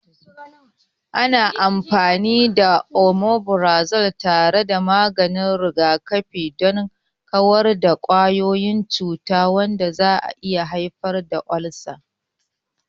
Ana amfani da Omeprazole tare da maganin rigakafi don kawar da kwayoyin cuta, wanda zai iya haifar da ulcers.